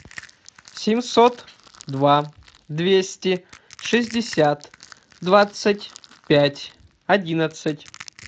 семьсот два двести шестьдесят двадцать пять одиннадцать